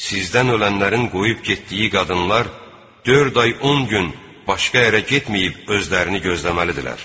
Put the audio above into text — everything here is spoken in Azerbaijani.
Sizdən ölənlərin qoyub getdiyi qadınlar dörd ay, 10 gün başqa yerə getməyib özlərini gözləməlidirlər.